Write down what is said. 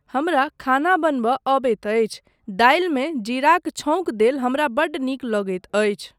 हमरा खाना बनयबा अबैत अछि, दालिमे जीराक छौंक देल हमरा बड्ड नीक लगैत अछि।